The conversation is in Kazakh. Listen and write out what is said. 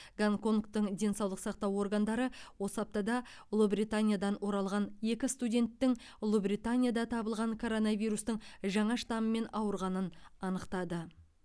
гонконгтың денсаулық сақтау органдары осы аптада ұлыбританиядан оралған екі студенттің ұлыбританияда табылған коронавирустың жаңа штаммымен ауырғанын анықтады